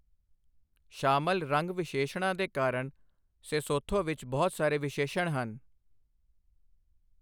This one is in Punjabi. ਸ਼ਾਮਲ ਰੰਗ ਵਿਸ਼ੇਸ਼ਣਾਂ ਦੇ ਕਾਰਨ ਸੇਸੋਥੋ ਵਿੱਚ ਬਹੁਤ ਸਾਰੇ ਵਿਸ਼ੇਸ਼ਣ ਹਨ।